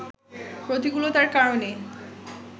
প্রতিকূলতার কারণে